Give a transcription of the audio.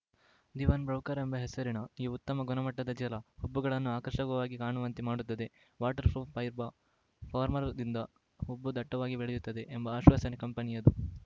the one ಬ್ರೌಕರಾ ಎಂಬ ಹೆಸರಿನ ಈ ಉತ್ತಮ ಗುಣಮಟ್ಟದ ಜೆಲ ಹುಬ್ಬುಗಳನ್ನು ಆಕರ್ಷಕವಾಗಿ ಕಾಣುವಂತೆ ಮಾಡುತ್ತದೆ ವಾಟರ್‌ ಪ್ರೂಫ್‌ ಫೈಬರ್‌ ಫಾರ್ಮುಲದಿಂದ ಹುಬ್ಬು ದಟ್ಟವಾಗಿ ಬೆಳೆಯುತ್ತದೆ ಎಂಬ ಆಶ್ವಾಸನೆ ಕಂಪೆನಿಯದು